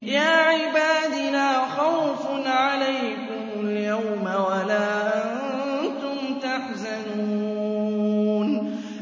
يَا عِبَادِ لَا خَوْفٌ عَلَيْكُمُ الْيَوْمَ وَلَا أَنتُمْ تَحْزَنُونَ